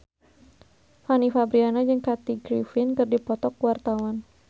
Fanny Fabriana jeung Kathy Griffin keur dipoto ku wartawan